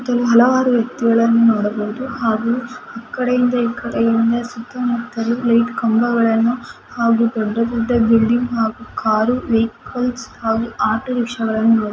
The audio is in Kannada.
ಇದು ಹಲವರು ವ್ಯಕ್ತಿಗಳನ್ನು ನೋಡಬಹುದು । ಹಾಗೂ ಈ ಕಡೆಯಿಂದ ಈ ಕಡೆ ಏನು ಸುತ್ತಮುತ್ತಲು ಲೈಟ್ ಕಂಬಗಳನ್ನು ಹಾಗೂ ದೊಡ್ಡ ದೊಡ್ಡ ಬಿಲ್ಡಿಂಗ್ಸ್ ಹಾಗೂ ಕಾರೂ ವಹಿಕಲ್ಸ್ ಆಟೋರಿಕ್ಷಾ ಅನ್ನು ನೋಡಬಹುದು .